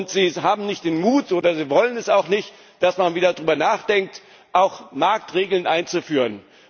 Sie haben nicht den Mut oder Sie wollen es auch nicht, dass man wieder darüber nachdenkt, auch Marktregeln einzuführen.